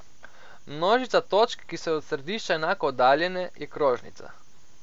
Množica točk, ki so od središča enako oddaljene, je krožnica.